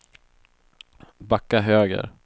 backa höger